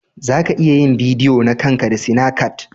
Za ka iya yin bidiyo na kan ka da sinacat.